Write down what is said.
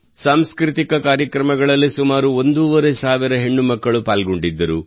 ಸಾಂಸ್ಕೃತಿಕ ಕಾರ್ಯಕ್ರಮಗಳಲ್ಲಿ ಸುಮಾರು ಒಂದೂವರೆ ಸಾವಿರ ಹೆಣ್ಣು ಮಕ್ಕಳು ಪಾಲ್ಗೊಂಡಿದ್ದರು